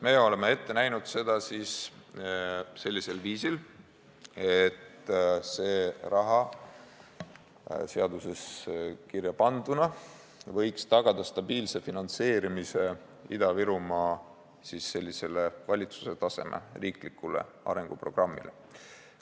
Me oleme seda ette näinud sellisel viisil, et see raha seaduses kirjapanduna võiks tagada stabiilse finantseerimise valitsuse tasemel kehtestatud Ida-Virumaa riiklikule arenguprogrammile.